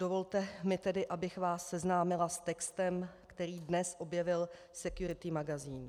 Dovolte mi tedy, abych vás seznámila s textem, který dnes objevil Security magazín.